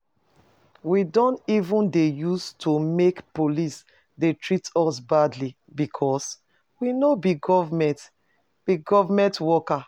We don even dey use to make police dey treat us badly because we no be government be government worker